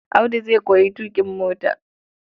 Audu zai koyi tuƙin mota.